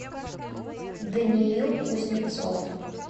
даниил кузнецов